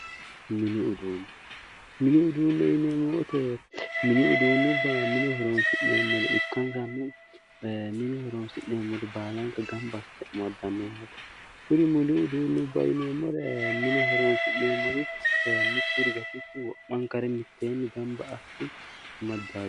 Mini uduunne mini uduunne yineemmo woyte mini uduunnubba mine horonsi'nemmore ikkanna mine horonsi'neemmore baalanka gamba assite amaddanno yaate kuni mini uduunnubba yineemmore mine horoonsi'ne mitturi gatikki wo'manka gamba assite amaddanno